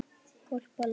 Glópa lán